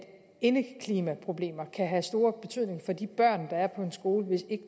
indeklimaproblemer kan have stor betydning for de børn der er på en skole hvis